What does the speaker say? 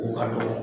O ka dɔgɔn